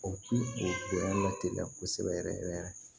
O kungoya la teliya kosɛbɛ yɛrɛ yɛrɛ